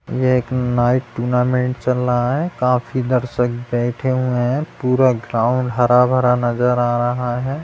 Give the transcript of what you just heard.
ये एक night tournament चल रहा है काफी दर्शक बैठे हुये है पूरा ग्राउन्ड हरा-भरा नज़र आ रहा है।